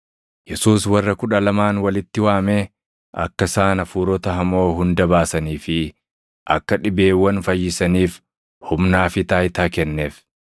Yesuus warra Kudha Lamaan walitti waamee, akka isaan hafuurota hamoo hunda baasanii fi akka dhibeewwan fayyisaniif humnaa fi taayitaa kenneef;